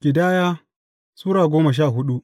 Ƙidaya Sura goma sha hudu